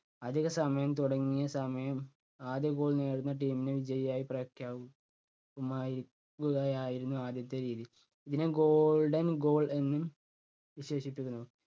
അധിക സമയം തുടങ്ങിയ സമയം ആദ്യ goal നേടുന്ന team നെ വിജയിയായി പ്രഖ്യാപി~ക്കുമായി~രിക്കുകയായിരുന്നു ആദ്യത്തെ രീതി. ഇതിനെ golden goal എന്നും വിശേഷിപ്പിക്കുന്നു.